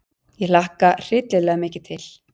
Ég hlakka hryllilega mikið til.